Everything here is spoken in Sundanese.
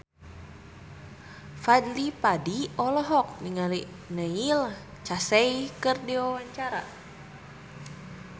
Fadly Padi olohok ningali Neil Casey keur diwawancara